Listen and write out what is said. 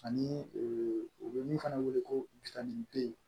Ani u bɛ min fana wele ko gide